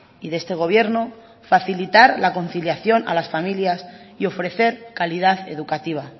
y de este gobierno facilitar la conciliación a las familias y ofrecer calidad educativa